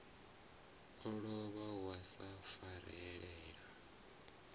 a lovha wa sa farelela